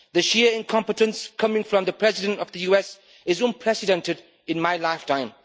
The sheer incompetence coming from the President of the US is unprecedented in my lifetime.